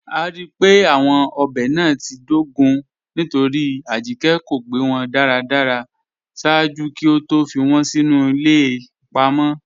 A ríí pé awọn ọbẹ́ náà ti dógún nítorí Ajíkẹ̀ kò gbẹ́ wọn daradara ṣaaju kí ó tó fí wọn sínu ilẹ̀ ipa mọ.